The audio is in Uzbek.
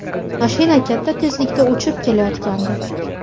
Mashina katta tezlikda uchib kelayotgandi.